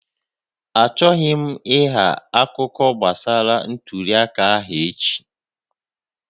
Achọghị m ịgha akụkọ gbasara ntuli aka ahụ echi